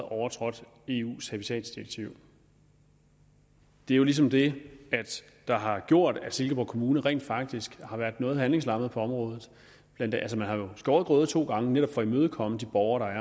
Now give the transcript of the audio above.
overtrådt eu’s habitatdirektiv det er ligesom det der har gjort at silkeborg kommune rent faktisk har været noget handlingslammet på området man har jo skåret grøde to gange for netop at imødekomme de borgere der